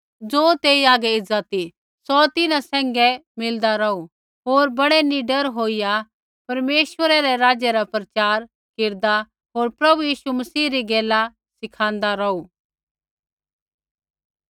ज़ो तेई आगै एज़ा ती सौ तिन्हां सैंघै मिलदा रौहू होर बड़ै निडर होईया परमेश्वरै रै राज्य रा प्रचार केरदा होर प्रभु यीशु मसीह री गैला सिखाँदा रौहू